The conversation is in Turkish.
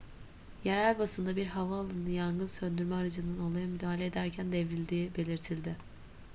yerel basında bir havaalanı yangın söndürme aracının olaya müdahale ederken devrildiği belirtildi